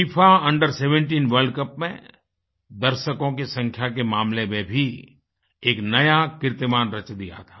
FIFA Under17 world cup में दर्शकों की संख्या के मामले में भी एक नया कीर्तिमान रच दिया था